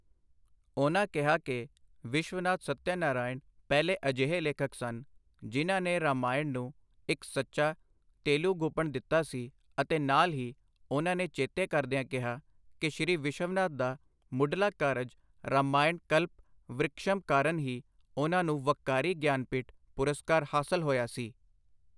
ਉਨ੍ਹਾਂ ਕਿਹਾ ਕਿ ਵਿਸ਼ਵਨਾਥ ਸੱਤਿਆ ਨਾਰਾਇਣ ਪਹਿਲੇ ਅਜਿਹੇ ਲੇਖਕ ਸਨ, ਜਿਨ੍ਹਾਂ ਨੇ ਰਾਮਾਇਣ ਨੁੰ ਇੱਕ ਸੱਚਾ ਤੇਲੁਗੂਪਣ ਦਿੱਤਾ ਸੀ ਅਤੇ ਨਾਲ ਹੀ ਉਨ੍ਹਾਂ ਨੇ ਚੇਤੇ ਕਰਦੀਆਂ ਕਿਹਾ ਕਿ ਸ਼੍ਰੀ ਵਿਸ਼ਵਨਾਥ ਦਾ ਮੁਢਲਾ ਕਾਰਜ ਰਾਮਾਇਣ ਕਲਪ-ਵ੍ਰਿਕਸ਼ਮ ਕਾਰਨ ਹੀ ਉਨ੍ਹਾਂ ਨੂੰ ਵੱਕਾਰੀ ਗਿਆਨਪੀਠ ਪੁਰਸਕਾਰ ਹਾਸਲ ਹੋਇਆ ਸੀ।